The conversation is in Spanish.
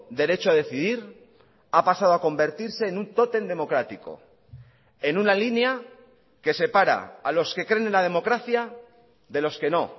derecho a decidir ha pasado a convertirse en un tótem democrático en una línea que separa a los que creen en la democracia de los que no